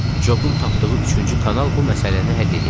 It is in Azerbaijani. Cobun tapdığı üçüncü kanal bu məsələni həll eləyəcəkdi.